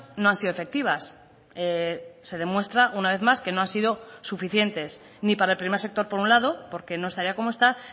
no han sido efectivas se demuestra una vez más que no han sido suficientes ni para el primer sector por un lado porque no estaría como está